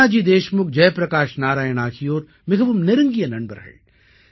நானாஜி தேஷ்முக் ஜெய் பிரகாஷ் நாராயண் ஆகியோர் மிகவும் நெருங்கிய நண்பர்கள்